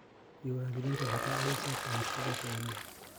Diiwaangelintu waxay ka caawisaa ka hortagga khiyaanada.